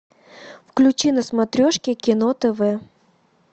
включи на смотрешке кино тв